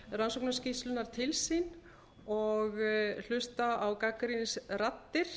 rannsóknarskýrslunnar til sín og hlusta á gagnrýnisraddir